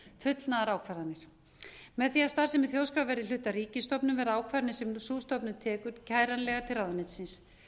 í stjórnsýslumálum fullnaðarákvarðanir með því að starfsemi þjóðskrár verði hluti af ríkisstofnun verða ákvarðanir sem sú stofnun tekur kæranlegar til ráðuneytisins